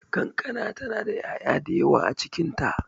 Kankana ta na da ya'ya da yawa a cikin ta.